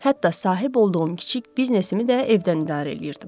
Hətta sahib olduğum kiçik biznesimi də evdən idarə eləyirdim.